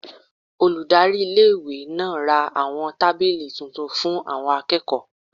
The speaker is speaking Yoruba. Olùdarí iléèwé náà ra àwọn tábìlì tuntun fún àwọn akẹ́kọ̀ọ́